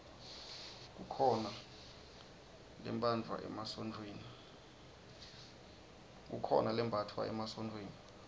kukhona lembatfwa emasontfweni